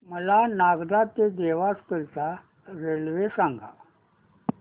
मला नागदा ते देवास करीता रेल्वे सांगा